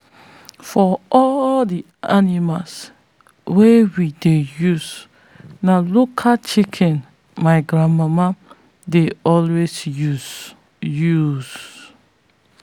for all the animals wey we dey use na local chicken my grandmama dey always use. use.